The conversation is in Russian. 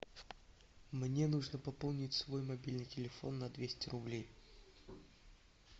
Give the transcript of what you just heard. мне нужно пополнить свой мобильный телефон на двести рублей